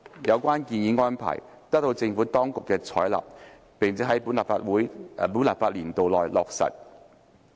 有關建議安排得到政府當局採納並在本立法年度內落實。